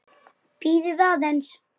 Bíðið aðeins.